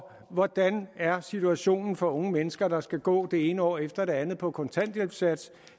hvordan er situationen for unge mennesker der skal gå det ene år efter det andet på kontanthjælpssats